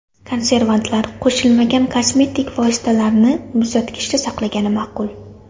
Konservantlar qo‘shilmagan kosmetik vositalarni muzlatkichda saqlagan ma’qul.